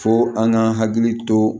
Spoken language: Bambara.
Fo an ka hakili to